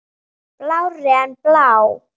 Blárri en blá.